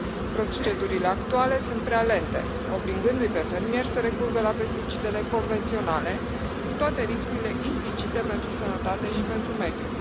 Procedurile actuale sunt prea lente, obligându i pe fermieri să recurgă la pesticidele convenționale cu toate riscurile implicite pentru sănătate și pentru mediu.